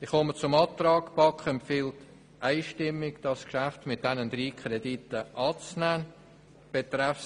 Die BaK empfiehlt einstimmig, das Geschäft mit den drei Krediten anzunehmen.